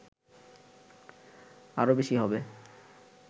আরো বেশী হবে